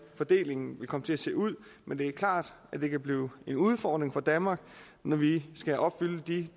fordelingen vil komme til at se ud men det er klart at det kan blive en udfordring for danmark når vi skal opfylde de